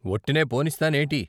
వొట్టినే పోనిస్తానేటి?